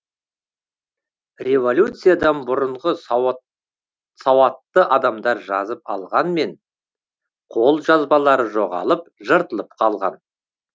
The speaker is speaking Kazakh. революциядан бұрынғы сауатты адамдар жазып алғанмен қолжазбалары жоғалып жыртылып қалған